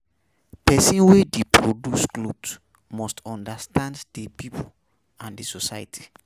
Persin wey de produce cloth must understand di pipo and society